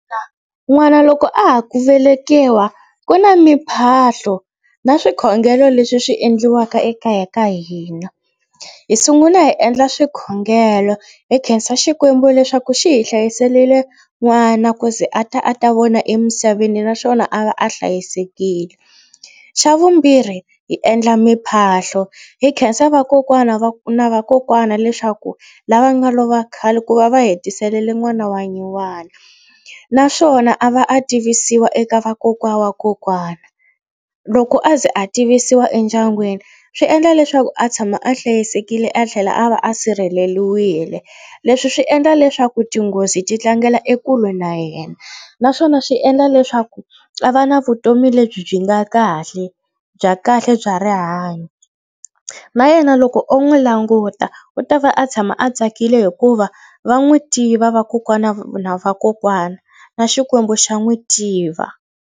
N'wana loko a ha ku velekiwa ku na mipahlo na swikhongelo leswi swi endliwaka ekaya ka hina. Hi sungula hi endla swikhongelo hi khensa Xikwembu leswaku xi hi hlayiselile n'wana ku ze a ta a ta vona emisaveni naswona a va a hlayisekile. Xa vumbirhi hi endla miphahlo hi khensa vakokwana va na vakokwana leswaku lava nga lova khale ku va va hi tiselele n'wana wa nyuwana naswona a va a tivisiwa eka vakokwana wa kokwana. Loko a ze a tivisiwa endyangwini swi endla leswaku a tshama a hlayisekile a tlhela a va a sirheleliwile. Leswi swi endla leswaku tinghozi ti tlangela ekule na yena naswona swi endla leswaku a va na vutomi lebyi byi nga kahle bya kahle bya rihanyo na yena loko o n'wi languta u ta va a tshama a tsakile hikuva va n'wi tiva vakokwana va na vakokwana na Xikwembu xa n'wi tiva.